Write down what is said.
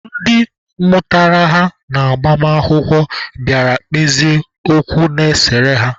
Ndị mụtara ha n'agbamakwụkwọ bịara kpezie okwu na-esere ha.